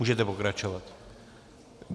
Můžete pokračovat.